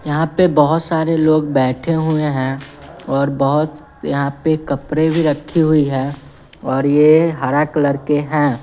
यहां पे बहोत सारे लोग बैठे हुए हैं और बहोत यहां पे कपड़े भी रखी हुई है और ये हरा कलर के हैं।